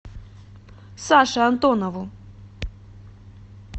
саше антонову